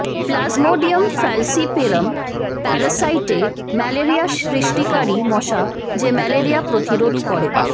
plasmodium falciparum প্যারাসাইটে malaria সৃষ্টিকারী মশা যে ম্যালেরিয়া প্রতিরোধ করে